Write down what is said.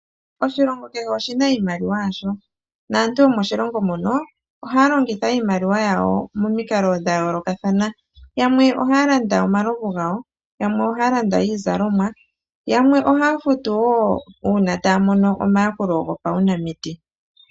Oshilongo kehe oshi na iimaliwa yasho, naantu yomoshilongo mono ohaa longitha iimaliwa yawo momikalo dha yoolokathana. Yamwe ohaa landa omalovu gawo, yamwe ohaa landa iizalomwa na yamwe ohaa futu woo uuna taya mono omayakulo gopawunamiti.